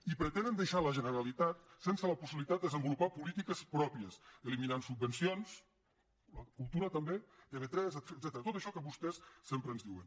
i pretenen deixar la generalitat sense la possibilitat de desenvolupar polítiques pròpies eliminant subvencions cultura també tv3 etcètera tot això que vostès sempre ens diuen